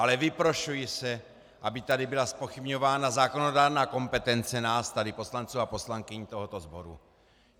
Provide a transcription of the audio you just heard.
Ale vyprošuji si, aby tady byla zpochybňována zákonodárná kompetence nás tady poslanců a poslankyň tohoto sboru.